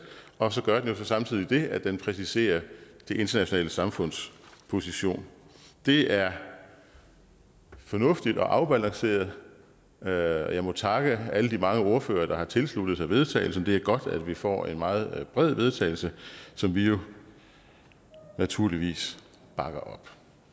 og gør jo så samtidig det at det præciserer det internationale samfunds position det er fornuftigt og afbalanceret og jeg må takke alle de mange ordførere der har tilsluttet sig vedtagelse det er godt at vi får et meget bredt vedtagelse som vi jo naturligvis bakker